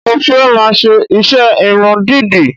Mo fẹ́ máa ṣe iṣẹ́ irun dídì